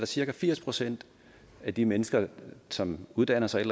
cirka firs procent af de mennesker som uddanner sig et